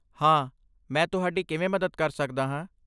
ਹਾਂ, ਮੈਂ ਤੁਹਾਡੀ ਕਿਵੇਂ ਮਦਦ ਕਰ ਸਕਦਾ ਹਾਂ?